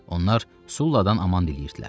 Onlar Sulladan aman diləyirdilər.